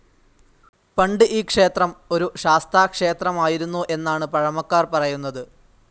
പണ്ട് ഈ ക്ഷേത്രം ഒരു ശാസ്താക്ഷേത്രമായിരുന്നു എന്നാണ് പഴമക്കാർ‌ പറയുന്നത്.